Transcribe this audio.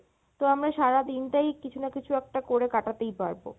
তো আমরা সারাদিন টাই কিছু না কিছু একটা করে কাটাতেই পারবো।